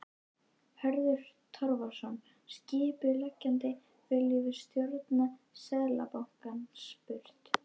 Hörður Torfason, skipuleggjandi: Viljum við stjórn Seðlabankans burt?